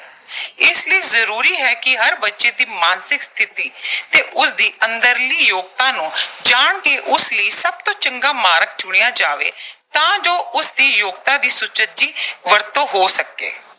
ਇਸ ਲਈ ਜ਼ਰੂਰੀ ਹੈ ਕਿ ਹਰ ਬੱਚੇ ਦੀ ਮਾਨਸਿਕ ਸਥਿਤੀ ਤੇ ਉਸਦੀ ਅੰਦਰਲੀ ਯੋਗਤਾ ਨੂੰ ਜਾਣ ਕੇ ਉਸ ਲਈ ਸਭ ਤੋਂ ਚੰਗਾ ਮਾਰਗ ਚੁਣਿਆ ਜਾਵੇ ਤਾਂ ਜੋ ਉਸਦੀ ਯੋਗਤਾ ਦੀ ਸੁਚੱਜੀ ਵਰਤੋਂ ਹੋ ਸਕੇ।